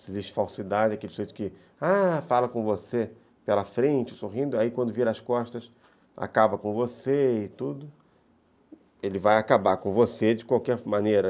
Se existe falsidade, aquele jeito que fala com você pela frente, sorrindo, aí quando vira as costas, acaba com você e tudo, ele vai acabar com você de qualquer maneira.